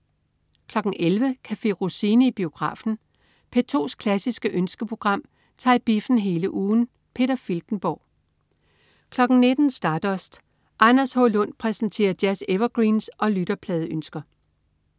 11.00 Café Rossini i biografen. P2's klassiske ønskeprogram tager i biffen hele ugen. Peter Filtenborg 19.00 Stardust. Anders H. Lund præsenterer jazz-evergreens og lytterpladeønsker